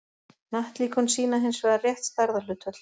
hnattlíkön sýna hins vegar rétt stærðarhlutföll